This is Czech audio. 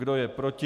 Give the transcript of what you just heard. Kdo je proti?